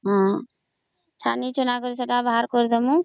ହଁ ହଁ ଛାଣି ଚୁନା କରି ସେତ ବାହାର କରିଦେବୁ